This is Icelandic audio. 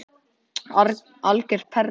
Algjör perla.